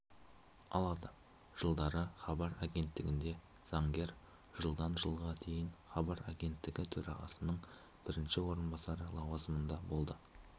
алады жылдары хабар агенттігінде заңгер жылдан жылға дейін хабар агенттігі төрағасының бірінші орынбасары лауазымында болды